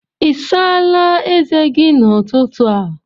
Ị̀ sáála ézè gi n'ụtụtụ a?